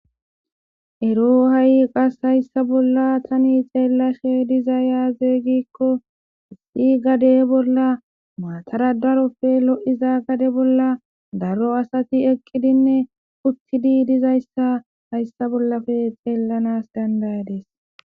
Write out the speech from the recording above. ero ha7i qas hayssa bolla tani xeellashe diza yaazeeygikko isxi gade bolla maatara darofe lo7iza gade bolla daro asati eqqidinne uttidi dizayssa hayssa bollafe xeellanas dandayades